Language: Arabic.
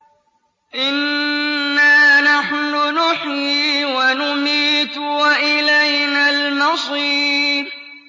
إِنَّا نَحْنُ نُحْيِي وَنُمِيتُ وَإِلَيْنَا الْمَصِيرُ